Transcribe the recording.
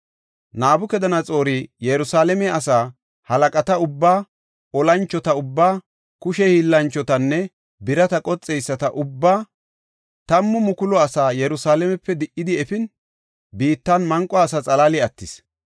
Nabukadanaxoori Yerusalaame asa, halaqata ubbaa, olanchota ubbaa, kushe hiillanchotanne birata qoxeyisata ubbaa, 10,000 asaa Yerusalaamepe di77idi efin, biittan manqo asa xalaali attis.